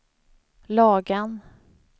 Lagan